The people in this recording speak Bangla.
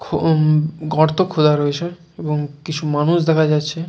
খুউম গর্ত খোদা রয়েছে এবং কিছু মানুষ দেখা যাচ্ছে।